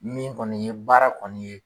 Min kɔni ye baara kɔni ye.